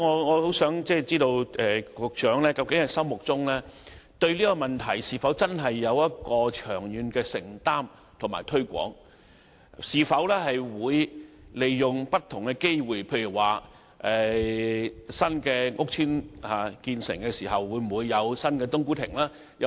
我想知道，局長對這問題是否真的有長遠的承擔，會積極推廣，以及利用不同的機會，例如新屋邨落成後會否有新的"冬菇亭"？